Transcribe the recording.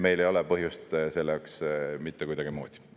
Meil ei ole põhjust selleks mitte kuidagimoodi.